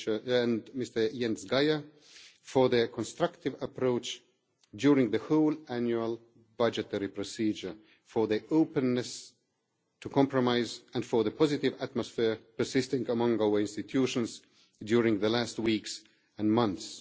and Mr Jens Geier for their constructive approach during the whole annual budgetary procedure, for their openness to compromise and for the positive atmosphere persisting among our institutions during the last weeks and months.